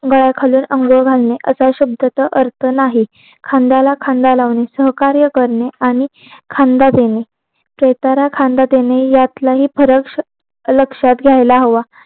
गळ्यात घालून अंग घालणे असं शब्दच अर्थ नाही खांद्याला खांदा लावणे सहकार्य करणे आणि खांदा देणे यात फरक लक्षयात घ्यायला हवं